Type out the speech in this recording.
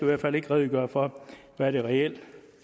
hvert fald ikke redegøre for hvad det reelt